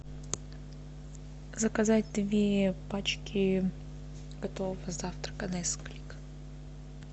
заказать две пачки готового завтрака несквик